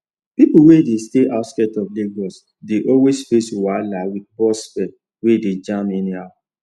people wey dey stay outskirts of lagos dey always face wahala with bus fare wey dey jump anyhow